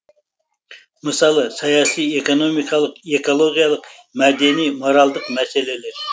мысалы саяси экономикалық экологиялық мәдени моральдық мәселелер